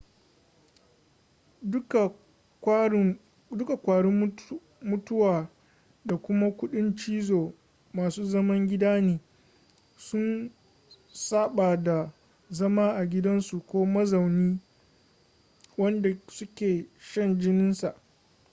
duka kwarin mutuwa da kuma kudin cizo masu zaman gida ne sun saba da zama a gidansu ko mazaunin wanda suke shan jininsa